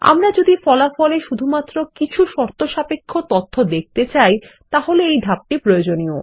আমরা যদি ফলাফলে শুধুমাত্র কিছু শর্তসাপেক্ষ তথ্য দেখতে চাই তাহলে এই ধাপটি প্রয়োজনীয়